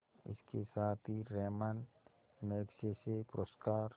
इसके साथ ही रैमन मैग्सेसे पुरस्कार